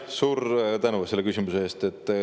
Suur tänu selle küsimuse eest!